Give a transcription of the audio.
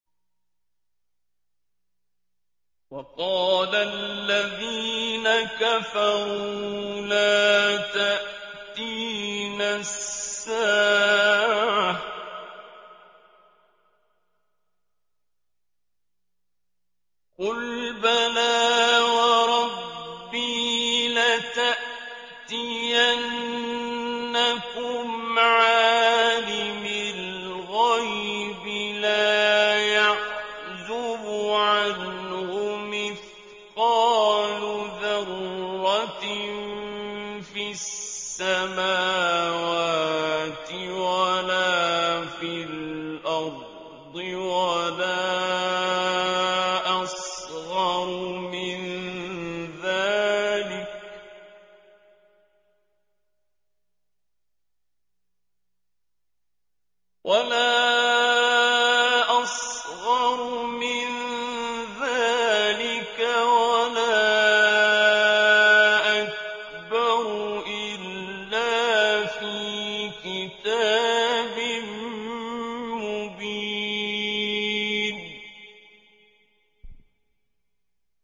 وَقَالَ الَّذِينَ كَفَرُوا لَا تَأْتِينَا السَّاعَةُ ۖ قُلْ بَلَىٰ وَرَبِّي لَتَأْتِيَنَّكُمْ عَالِمِ الْغَيْبِ ۖ لَا يَعْزُبُ عَنْهُ مِثْقَالُ ذَرَّةٍ فِي السَّمَاوَاتِ وَلَا فِي الْأَرْضِ وَلَا أَصْغَرُ مِن ذَٰلِكَ وَلَا أَكْبَرُ إِلَّا فِي كِتَابٍ مُّبِينٍ